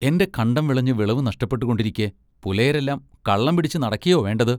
എന്റെ കണ്ടം വിളഞ്ഞു വിളവു നഷ്ടപ്പെട്ടുകൊണ്ടിരിക്കെ പുലയരെല്ലാം കള്ളം പിടിച്ചു നടക്കയൊ വേണ്ടത്.